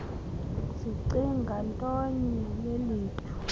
sicinga ntonye lelethu